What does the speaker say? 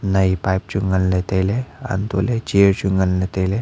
nai pipe chuwai nganka tailey hantohley chair chu nganla tailey.